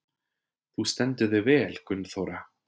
Þú stendur þig vel, Gunnþóra!